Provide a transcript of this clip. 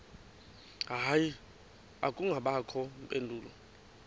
hayi akubangakho mpendulo